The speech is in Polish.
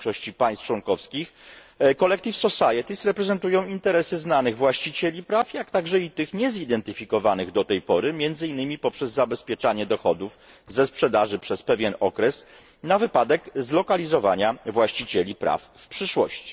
W większości państw członkowskich Collecting Societies reprezentują interesy znanych właścicieli praw, jak także i tych niezidentyfikowanych do tej pory, między innymi poprzez zabezpieczanie dochodów ze sprzedaży przez pewien okres na wypadek zlokalizowania właścicieli praw w przyszłości.